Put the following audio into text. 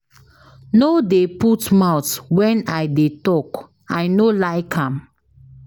No dey put mouth wen I dey tok, I no like am.